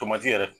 Tomati yɛrɛ